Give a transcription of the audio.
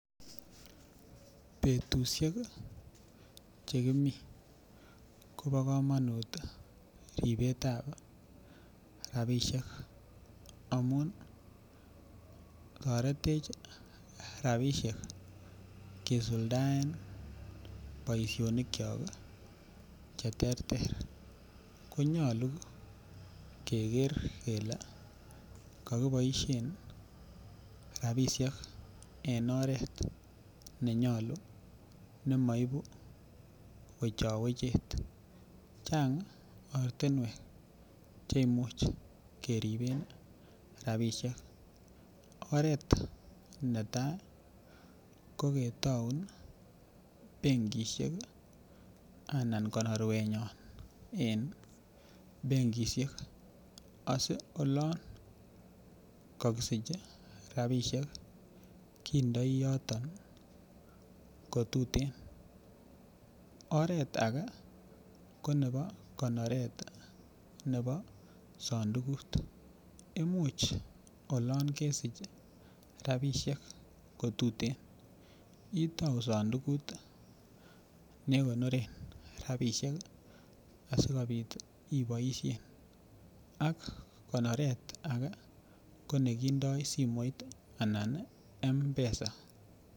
Betushek chekimi kobo komonut ribetab rapishek amun toretech rapishek kesuldaen boishonik chok cheterter konyolu keker kele kakiboishen rapishek en oret nenyolu nemaibu wechowechet chang' ortinwek che imuch keriben rapishek oret netai ko ketoun benkishek anan konorwenyon en benkishek asi olon kakisich rapishek kindoi yoto kotutin oret ake konebo konoret nebo sondukut imuch olon kesich rapishek kotutin itou sondukut nekonoren rapishek asikobit iboishen ak konoret age konekindoi simoit anan mpesa